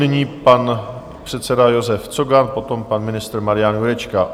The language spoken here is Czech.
Nyní pan předseda Josef Cogan, potom pan ministr Marian Jurečka.